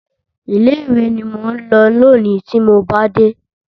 Ilé ìwé ni mò ń lọ lónìí tí mo bá dé.